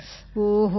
ஓஹோ சரி